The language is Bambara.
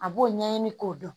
A b'o ɲɛɲini k'o dɔn